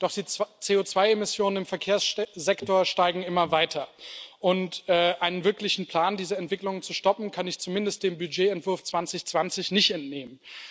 Doch die CO2 Emissionen im Verkehrssektor steigen immer weiter, und einen wirklichen Plan, diese Entwicklung zu stoppen, kann ich zumindest dem Budgetentwurf 2020 nicht entnehmen.